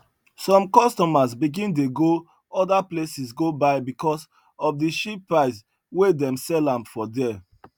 some customers begin dey go other places go buy because of the cheap price wey dem sell am for there